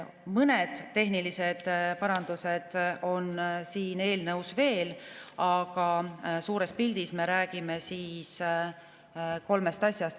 Mõned tehnilised parandused on eelnõus veel, aga suures pildis me räägime kolmest asjast.